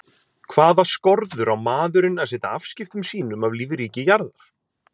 Hvaða skorður á maðurinn að setja afskiptum sínum af lífríki jarðar?